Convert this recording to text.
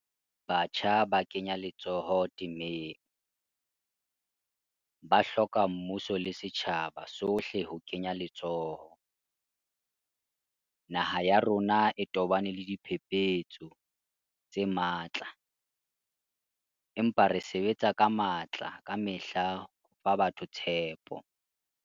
Batjha ba kenya letsoho temeng, ba hloka mmuso le setjhaba sohle ho kenya letsoho. Naha ya rona e tobane le diphephetso tse matla, empa re sebetsa ka matla kamehla ho fa batho tshepo.